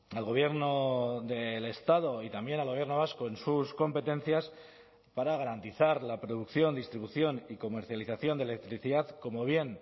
al gobierno del estado y también al gobierno vasco en sus competencias para garantizar la producción distribución y comercialización de electricidad como bien